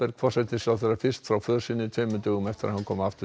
forsætisráðherra fyrst frá för sinni tveimur dögum eftir að hann kom aftur